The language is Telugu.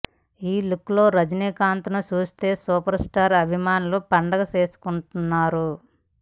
ఈ లుక్లో రజినీకాంత్ను చూస్తూ సూపర్ స్టార్ అభిమానులు పండగ చేసుకుంటున్నారు